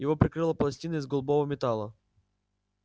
его прикрыла пластина из голубого металла